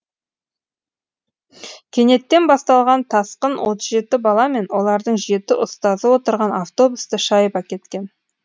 кенеттен басталған тасқын отыз жеті бала мен олардың жеті ұстазы отырған автобусты шайып әкеткен